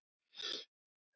Sem koma.